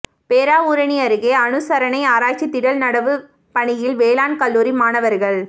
பேராவூரணி அருகே அனுசரணை ஆராய்ச்சி திடல் நடவுப் பணியில் வேளாண் கல்லூரி மாணவா்கள்